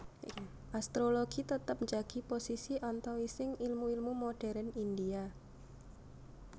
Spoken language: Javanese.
Astrologi tetep njagi posisi antawising ilmu ilmu modérn India